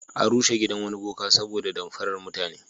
An rushe gidan wani boka saboda damfarar mutane.